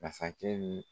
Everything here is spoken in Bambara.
Masakɛ ni